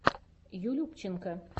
юлюбченко